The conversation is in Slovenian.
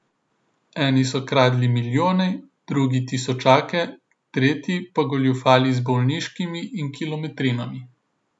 Eni so kradli milijone, drugi tisočake, tretji pa goljufali z bolniškimi in kilometrinami.